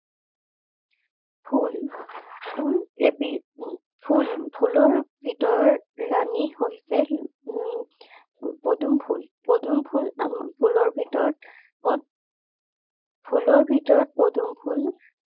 ফুল ফুল এবিধ উম ফুল ফুলৰ ভিতৰৰ ৰাণী হৈছে উম পদুম ফুল। পদুম ফুল আমাক ফুলৰ ভিতৰত ফুলৰ ভিতৰত পদুম ফুল